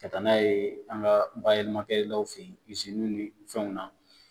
Ka taa n'a ye an ka bayɛlɛmakɛlaw fɛ yen izini ni fɛnw na